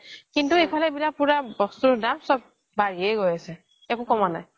কিন্তু এই ফালে পোৰা বস্তুৰ দাম চব বাঢ়িয়ে গৈ আছে একো কমা নাই